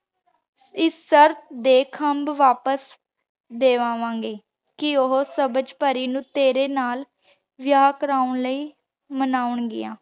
ਏਸ ਸ਼ਿਰਟ ਤੇ ਖੰਭ ਵਾਪਿਸ ਦੇ ਵਾਵਾਂ ਗੇ ਕੇ ਓਹੋ ਸਬਝ ਪਾਰੀ ਨੂ ਤੇਰੀ ਨਾਲ ਵਿਯਾਹ ਕਰਨ ਲਾਈ ਮਨਾਂ ਗਿਯਾੰ